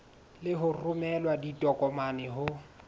le ho romela ditokomane ho